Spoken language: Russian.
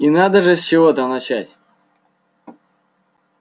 и надо же с чего-то начать